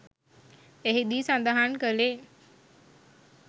එහිදී සඳහන් කළේ